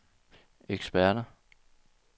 eksperter